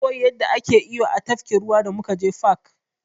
Na koyi yanda ake iyo a tafkin ruwa da muka je fak.